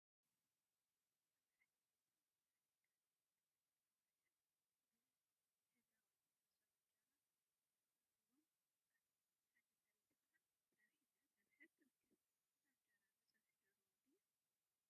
አብ ሓደ ገዛ ብዙሓት ደቂ አንስትዮን ክልተ ደቂ ተባዕትዮን ብሕብራዊ መሶብ እንጀራ ተቀሪቦም አለው፡፡ ሓንቲ ሰበይቲ ከዓ ፀብሒ እናፀብሐት ትርከበ፡፡ እዛ እንጀራ ብፀበሒ ደርሆ ድያ?